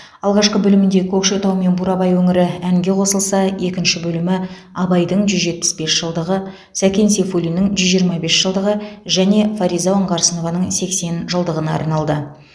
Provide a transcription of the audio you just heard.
алғашқы бөлімінде көкшетау мен бурабай өңірі әңге қосылса екінші бөлімі абайдың жүз жетпіс бес жылдығы сәкен сейфуллиннің жүз жиырма бес жылдығы және фариза оңғарсынованың сексен жылдығына арналды